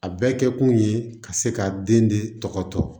A bɛɛ kɛ kun ye ka se ka den de tɔgɔ tɔ